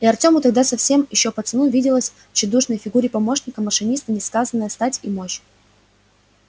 и артему тогда совсем ещё пацану виделась в тщедушной фигуре помощника машиниста несказанная стать и мощь